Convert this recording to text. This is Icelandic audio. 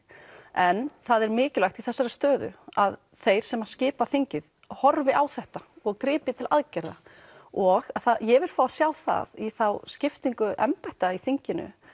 en það er mikilvægt í þessari stöðu að þeir sem skipa þingið horfi á þetta og grípi til aðgerða og ég vil fá að sjá það í þá skiptingu embætta í þinginu